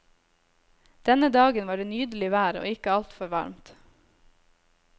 Denne dagen var det nydelig vær og ikke altfor varmt.